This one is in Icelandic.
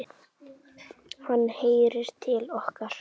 Hann heyrir til okkar.